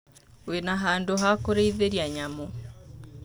Wĩ na handũ hakũrĩithia nyamũ.